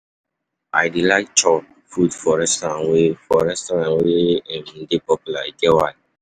I dey like chop food for restaurant wey for restaurant wey um dey popular, e get why.